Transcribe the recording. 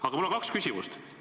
Aga mul on kaks küsimust.